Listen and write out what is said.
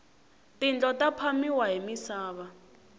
tindlo ta phamiwa hi misava